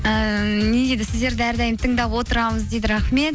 ііі не дейді сіздерді әрдайым тыңдап отырамыз дейді рахмет